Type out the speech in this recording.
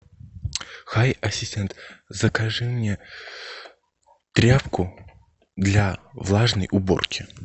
хай ассистент закажи мне тряпку для влажной уборки